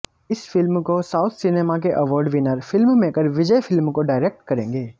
इस फिल्म को south cinema के award winner filmmaker Vijay film को डायरेक्ट करेंगे